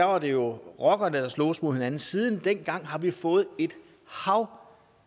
var det jo rockerne der sloges mod hinanden siden dengang har vi fået et hav